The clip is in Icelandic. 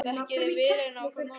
Þekkið þið vel inn á hvorn annan?